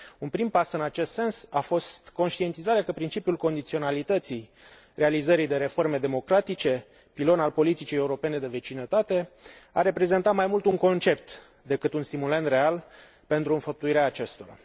Un prim pas în acest sens a fost conștientizarea că principiul condiționalității realizării de reforme democratice, pilon al politicii europene de vecinătate, a reprezentat mai mult un concept decât un stimulent real pentru înfăptuirea acestora.